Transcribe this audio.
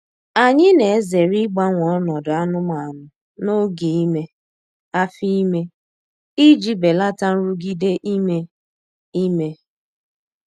Anyị na-ezere ịgbanwe ọnọdụ anụmanụ n'oge ime afọ ime iji belata nrụgide ime ime.